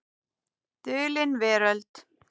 Dulin Veröld.